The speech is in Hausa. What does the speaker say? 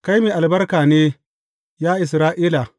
Kai mai albarka ne, ya Isra’ila!